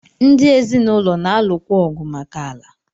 Ndi ezinụlọ na-alụkwa ọgụ maka ala.